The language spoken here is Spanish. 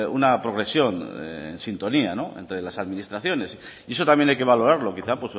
una progresión en sintonía entre las administraciones y eso también hay que valorarlo quizá